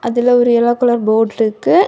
இதுல ஒரு yellow colour board இருக்கு.